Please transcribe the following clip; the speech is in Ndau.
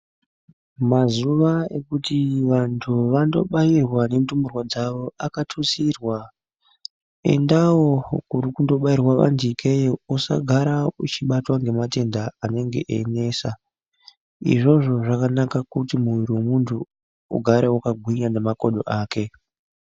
Mazuwa ekuti vantu vandobairwa nendumurwa dzavo akatutsirwa endawo kuri kundobairwa majekeyo usagara uchibatwa ngematenda anongana einesa izvozvo zvakanaka kuti murwiri wemuntu ugare wakagwinya nemakodo ake .